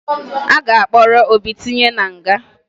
A ga-akpọrọ Obi tinye na nga